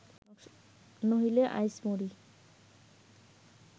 নহিলে, আইস মরি